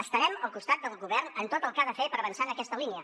estarem al costat del govern en tot el que ha de fer per avançar en aquesta línia